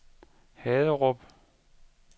Haderup